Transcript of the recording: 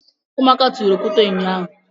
Ụmụaka tụrụ okwute ụnyaahụ.